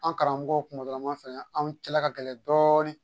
An karamɔgɔ kunkoloma filɛ anw cɛla ka gɛlɛn dɔɔnin